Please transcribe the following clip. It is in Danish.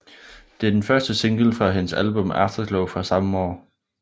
Det er den første single fra hendes album Afterglow fra samme år